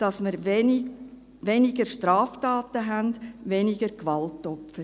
dass wir weniger Straftaten haben, weniger Gewaltopfer.